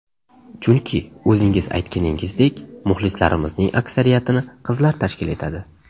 Chunki o‘zingiz aytganingizdek, muxlislarimizning aksariyatini qizlar tashkil etadi.